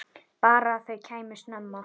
Bara að þau kæmu snemma.